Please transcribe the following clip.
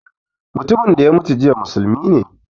Mutumin da ya mutu jiya musulmi ne